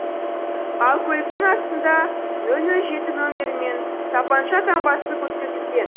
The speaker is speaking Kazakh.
ал көліктің астында ноль ноль жеті нөмірі мен тапанша таңбасы көрсетілген